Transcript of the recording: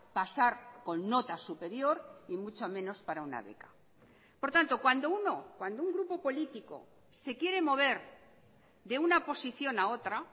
pasar con nota superior y mucho menos para una beca por tanto cuando uno cuando un grupo político se quiere mover de una posición a otra